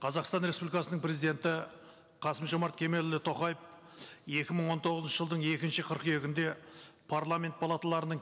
қазақстан республикасының президенті қасым жомарт кемелұлы тоқаев екі мың он тоғызыншы жылдың екінші қыркүйегінде парламент палаталарының